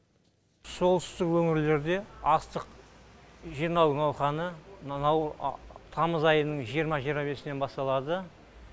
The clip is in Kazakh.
солтүстік өңірлерде астық жинау науқаны мынау тамыз айының жиырма жиырма бесінен басталады